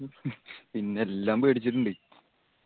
പിന്നെല്ലാം പേടിച്ചിട്ടിണ്ട്